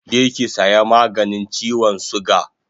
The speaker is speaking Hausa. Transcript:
Je ki saya maganin chiwon suga